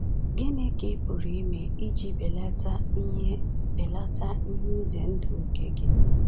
Gịnị ka ị pụrụ ime iji belata ihe belata ihe ize ndụ nke gị?